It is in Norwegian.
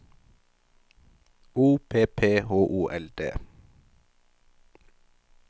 O P P H O L D